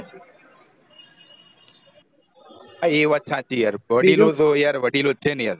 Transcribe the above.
એ વાત સાચી વડીલો તો યાર વડીલો જ છે ને યાર